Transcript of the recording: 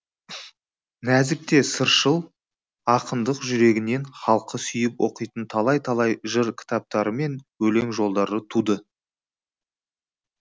нәзік те сыршыл ақындық жүрегінен халқы сүйіп оқитын талай талай жыр кітаптарымен өлең жолдары туды